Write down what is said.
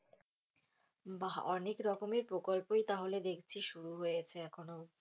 বাঃ অনেক রকমের প্রকল্পই তাহলে দেখছি শুরু হয়েছে এখনও।